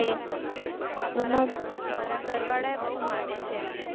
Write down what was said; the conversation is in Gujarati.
મારા ઘરવાળા બહુ માને છે.